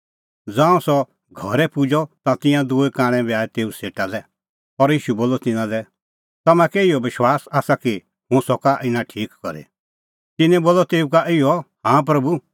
ज़ांऊं सह घरै पुजअ ता तिंयां दूई कांणै बी आऐ तेऊ सेटा लै और ईशू बोलअ तिन्नां लै तम्हां कै इहअ विश्वास आसा कि हुंह सका इना ठीक करी तिन्नैं बोलअ तेऊ का इहअ हाँ प्रभू